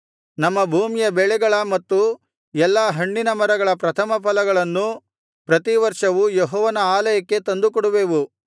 ನಮ್ಮ ಭೂಮಿಯ ಬೆಳೆಗಳ ಮತ್ತು ಎಲ್ಲಾ ಹಣ್ಣಿನ ಮರಗಳ ಪ್ರಥಮ ಫಲಗಳನ್ನು ಪ್ರತಿ ವರ್ಷವೂ ಯೆಹೋವನ ಆಲಯಕ್ಕೆ ತಂದುಕೊಂಡುವೆವು